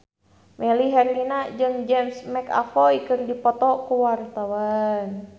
Melly Herlina jeung James McAvoy keur dipoto ku wartawan